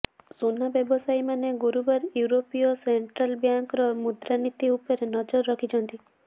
ସୁନା ବ୍ୟବସାୟୀମାନେ ଗୁରୁବାର ୟୁରୋପୀୟ ସେଣ୍ଟ୍ରାଲ୍ ବ୍ୟାଙ୍କର ମୁଦ୍ରାନୀତି ଉପରେ ନଜର ରଖିଛନ୍ତି